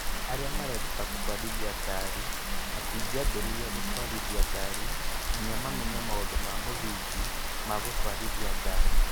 Arĩa mareruta gũtwarithia ngari matingĩambĩrĩria gũtwarithia ngari nginya mamenye maũndũ ma mũthingi ma gũtwarithia ngari